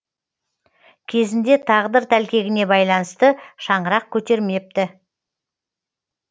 кезінде тағдыр тәлкегіне байланысты шаңырақ көтермепті